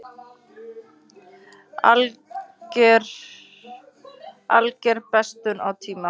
Alger bestun á tíma.